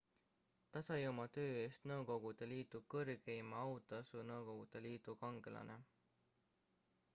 ta sai oma töö eest nõukogude liidu kõrgeima autasu nõukogude liidu kangelane